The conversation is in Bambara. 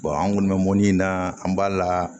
an kɔni bɛ mɔni na an b'a la